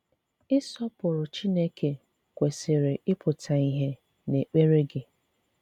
Ị̀sọpụrụ̀ Chineke kwesị̀rì ị̀pụ̀tà ìhè n’èkpèrè gị.